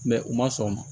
u ma sɔn